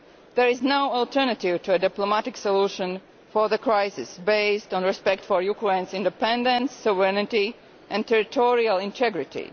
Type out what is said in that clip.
There is no alternative to a diplomatic solution to the crisis, based on respect for Ukraine's independence, sovereignty and territorial integrity.